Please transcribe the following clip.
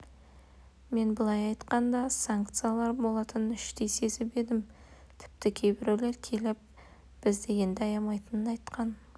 мен былай айтқанда санкциялар болатынын іштей сезіп едім тіпті кейбіреулер келіп бізді енді аямайтынын айтқан